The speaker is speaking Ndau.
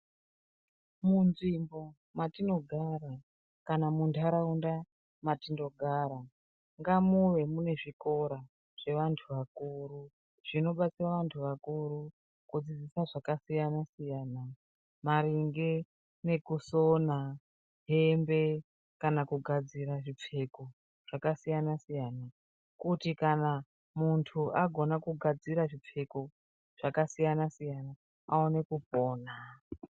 Munzvimbo matinogara kana munharaunda matinogara ngamuve mune zvikora zvevantu vakuru, zvinobatsira vantu vakuru kudziidzisa zvakasiyanasiyana maringe nekusona hembe kana kugadzira zvipfeko zvakasiyanasiyana kuti kana muntu agona kugadzira zvipfeko zvakasiyanasiyana aone kupona.